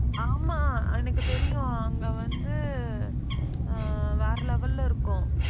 ஆமா, எனக்கு தெரியும் அங்க வந்து ஆஹ் வேற level ல இருக்கும்.